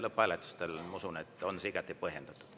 Lõpphääletusel, ma usun, on see igati põhjendatud.